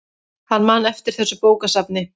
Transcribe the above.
Hann man eftir þessu bókasafni.